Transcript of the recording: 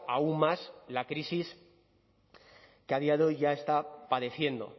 aún más la crisis que a día de hoy ya está padeciendo